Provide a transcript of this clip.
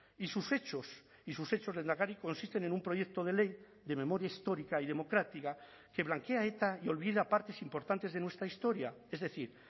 y sus hechos y sus hechos lehendakari consisten en un proyecto de ley de memoria histórica y democrática que blanquea a eta y olvida partes importantes de nuestra historia es decir